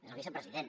és el vicepresident